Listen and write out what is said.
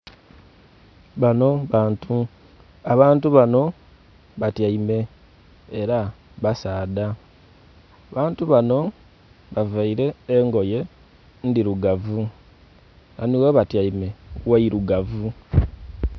Banho bantu abantu banho batyaime era basaadha, abantu banho ba vaire engoye ndhirugavu, ghanho ghebatyaime gheirugavu.